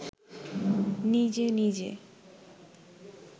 নিজে নিজে